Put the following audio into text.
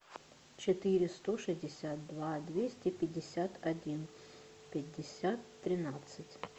четыре сто шестьдесят два двести пятьдесят один пятьдесят тринадцать